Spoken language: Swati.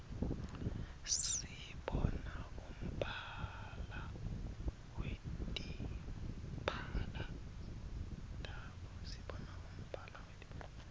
sibona umbala wetimphala tabo